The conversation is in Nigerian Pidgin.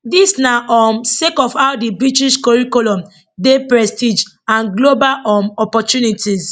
dis na um sake of how di british curriculum dey prestige and global um opportunities